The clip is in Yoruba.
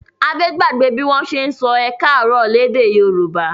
Adé gbàgbé bí wọ́n ṣe sọ ẹ káàárọ̀ lédè Yorùbá.